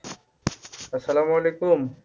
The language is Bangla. আসসালামু আলাইকুম